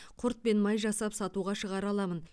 құрт пен май жасап сатуға шығара аламын